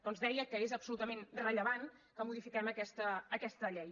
doncs deia que és absolutament rellevant que modifiquem aquesta llei